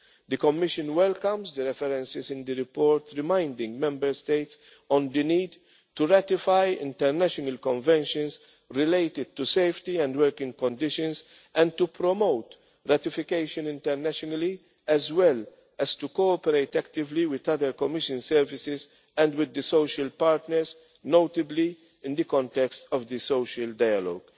sector. The Commission welcomes the references in the report, reminding Member States of the need to ratify international conventions related to safety and working conditions and to promote ratification internationally, as well as to cooperate actively with other Commission services and with the social partners, notably in the context of the social